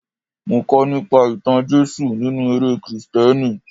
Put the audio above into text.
Mo kọ́ nípa ìtàn Jésù nínú eré Kristẹni.